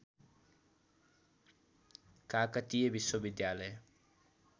काकतीय विश्वविद्यालय